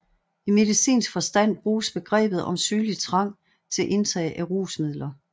I medicinsk forstand bruges begrebet om sygelig trang til indtag af rusmidler